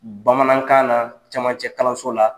Bamanankan , na caman cɛ kalanso la